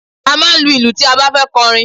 A máa ń lu ìlù tí a bá fẹ́ kọrin.